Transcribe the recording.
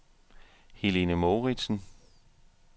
Helene Mouritsen